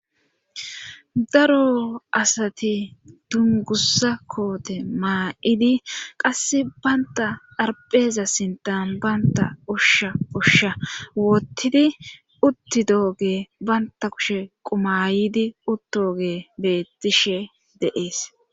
Daro asati dungussa koote maa'idi qass baynta harpheeza sintan baynta ushsha ushsha woottidi utti dooge baynta kushe qumayidi uttooge beettishe deees.